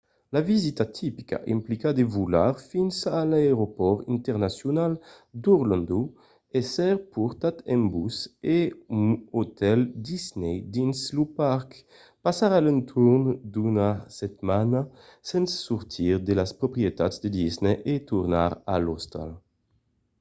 la visita tipica implica de volar fins a l’aeropòrt internacional d’orlando èsser portat en bus a un otèl disney dins lo parc passar a l’entorn d’una setmana sens sortir de las proprietats de disney e tornar a l’ostal